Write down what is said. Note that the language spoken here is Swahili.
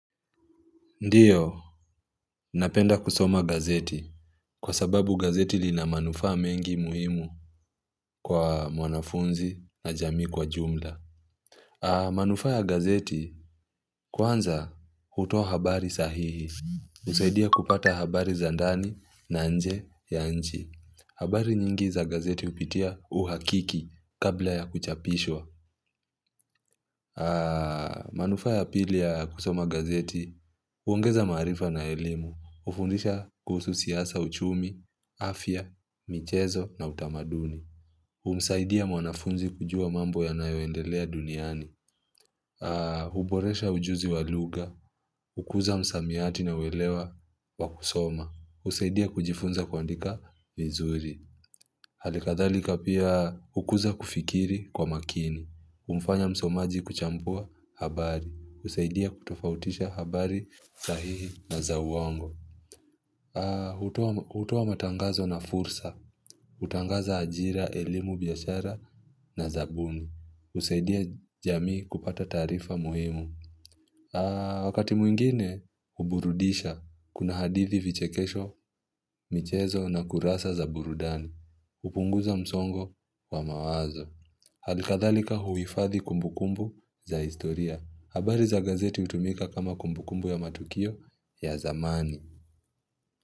Ndiyo, napenda kusoma gazeti kwa sababu gazeti lina manufaa mengi muhimu kwa mwanafunzi na jamii kwa jumla. Manufaa ya gazeti kwanza hutoa habari sahihi, husaidia kupata habari za ndani na nje ya nchi. Habari nyingi za gazeti upitia uhakiki kabla ya kuchapishwa. Manufaa ya pili ya kusoma gazeti, huongeza maarifa na elimu. Hufundisha kuhusu siasa, uchumi, afya, michezo na utamaduni humsaidia mwanafunzi kujua mambo yanayoendelea duniani huboresha ujuzi wa lugha, hukuza msamiati na uwelewa wa kusoma, husaidia kujifunza kuandika vizuri Halikadhalika pia hukuza kufikiri kwa makini. Humfanya msomaji kuchampua habari, husaidia kutofautisha habari sahihi na za uongo. Hutoa matangazo na fursa. Hutangaza ajira, elimu, biashara na zabuni. Husaidia jamii kupata taarifa muhimu. Wakati mwingine, huburudisha, kuna hadithi, vichekesho, michezo na kurasa za burudani. Hupunguza msongo wa mawazo. Halikathalika huhifadhi kumbukumbu za historia. Habari za gazeti hutumika kama kumbukumbu ya matukio ya zamani.